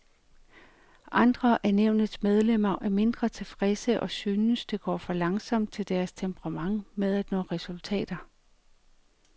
Andre af nævnets medlemmer er mindre tilfredse og synes, det går for langsomt til deres temperament med at få resultater.